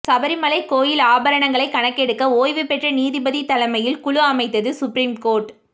சபரிமலை கோயில் ஆபரணங்களை கணக்கெடுக்க ஓய்வு பெற்ற நீதிபதி தலைமையில் குழு அமைத்தது சுப்ரீம் கோர்ட்